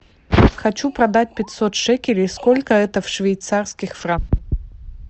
хочу продать пятьсот шекелей сколько это в швейцарских франках